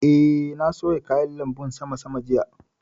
Eh, na soya kayan lanbun sama sama jiya